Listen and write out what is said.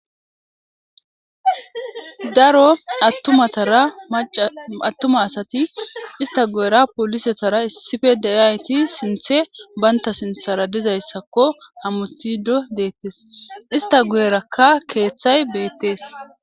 daro atuma asati ista guyera polisetara issife deyayti sinthe baynta sinthara dizayssakko hamutido deettes ista guyerakka keeththay beettees